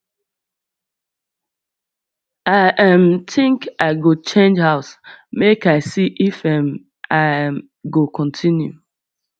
i um think i go change house make i see if um i um go continue